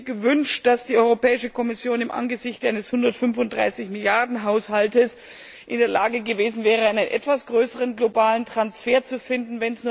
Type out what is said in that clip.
Ich hätte mir gewünscht, dass die Europäische Kommission angesichts eines 135 Milliarden Haushalts in der Lage gewesen wäre, einen etwas größeren globalen Transfer zu finden.